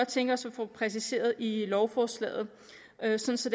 tænke os at få præciseret i lovforslaget altså så